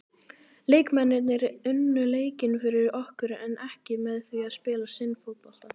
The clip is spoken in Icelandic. Leikmennirnir unnu leikinn fyrir okkur en ekki með því að spila sinn fótbolta.